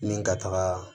Ni ka taga